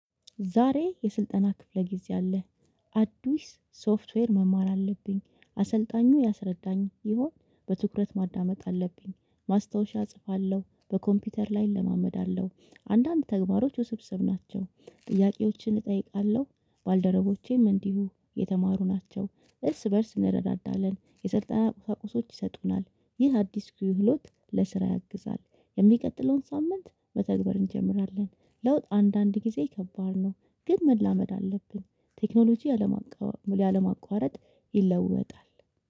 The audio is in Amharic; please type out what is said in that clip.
ዛሬ የስልጠና ክፍለ ጊዜ አለ። አዳዲስ ሶፍትዌር መማር አለብኝ አሰልጣኙ ያስረዳኝ ሲሆን በትኩረት ማዳመጥ አለብኝ ማስታወሻ እጽፋለሁ በኮምፒውተር ላይ እለማመዳለው። አንዳንድ ተግባሮች ውስብስብ ናቸው። ጥያቄዎችን እጠይቃለሁ። ባልደረቦቼም እንዲሁ የተማሩ ናቸው እርስ በእርስ እንረዳዳለን። የስልጠና ቁሳቁሶች ይሰጡናል ይህ አዲስ ክህሎት ለስራ ያግዛል። የሚቀጥለውን ሳምንት መተግበር እንጀምራለን። ለውጥ አንዳንድ ጊዜ ከባድ ነው። ግን መላመድ አለብን። ቴክኖሎጂ ያለማቋረጥ ይለወጣል።